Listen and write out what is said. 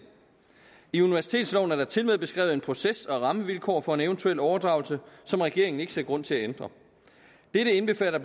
i universitetsloven er der tilmed beskrevet en proces og nogle rammevilkår for en eventuel overdragelse som regeringen ikke ser grund til at ændre dette indbefatter